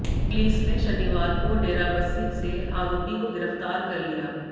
police ने शनिवार को डेराबस्सी से आरोपी को गिरफ्तार कर लिया